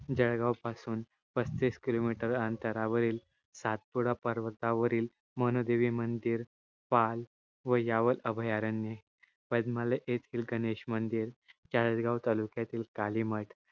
जळगाव पासुन पसतीस kilometre अंतरावरील सातपुडा पर्वतावरील मनू देवी मंदिर पाल व यावाल अभयारण्ये पद्मालय येथिल गणेश मंदिर चाळिसगांव तालुक्यातील काली मठ